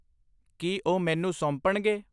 ਕੀ ਉਹ ਮੈਨੂੰ ਸੌਂਪਣਗੇ